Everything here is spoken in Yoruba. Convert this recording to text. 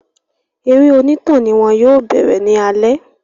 Eré onítàn ni wọ́n yóò bẹ̀rẹ̀ ní alẹ́